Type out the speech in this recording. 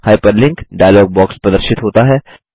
hyperlink dialog प्रदर्शित होता है